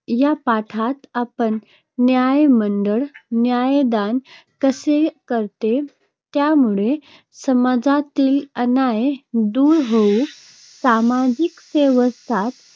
या पाठात आपण न्यायमंडळ न्यायदान कसे करते, त्यामुळे समाजातील अन्याय दूर होऊन सामाजिक स्वास्थ्य